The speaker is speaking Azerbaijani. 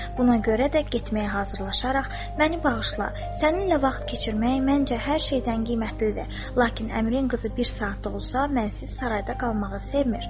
Buna görə də getməyə hazırlaşaraq məni bağışla, səninlə vaxt keçirmək məncə hər şeydən qiymətlidir, lakin əmrin qızı bir saat da olsa mənsiz sarayda qalmağı sevmir.